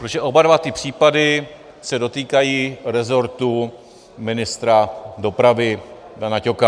Protože oba dva ty případy se dotýkají rezortu ministra dopravy Dana Ťoka.